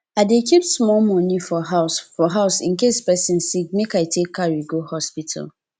i dey keep small money for house for house in case pesin sick make i take carry go hospital